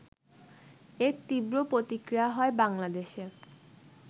এর তীব্র প্রতিক্রিয়া হয় বাংলাদেশে